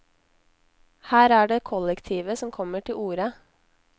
Her er det kollektivet som kommer til orde.